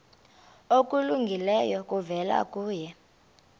okulungileyo kuvela kuye